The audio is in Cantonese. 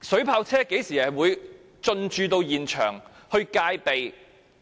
水炮車應於何時進駐現場戒備？